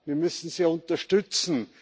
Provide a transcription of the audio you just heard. Wir müssen sie unterstützen.